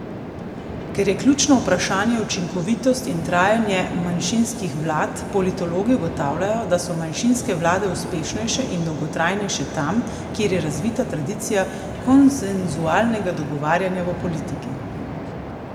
Ker je ključno vprašanje učinkovitost in trajanje manjšinskih vlad, politologi ugotavljajo, da so manjšinske vlade uspešnejše in dolgotrajnejše tam, kjer je razvita tradicija konsenzualnega dogovarjanja v politiki.